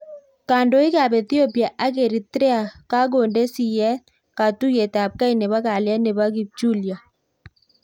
Kandoik ap Ethiopia ak Eritrea kakondee siyet katuiyet ap kei nepoo kalyet Nepo kipchulyoo